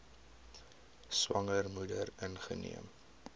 swanger moeder ingeneem